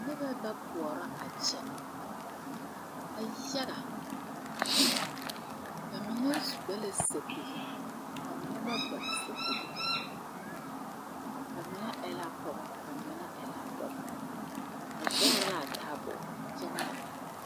Nibɛ ba pɔɔrɔ a kyɛ ba yaga ba mine gba la sɛpige ba mine ba gba sɛpige ba mine e la pogɔ ba mine dɔbɔ ba zegre laa taaboore kyɛ ngma.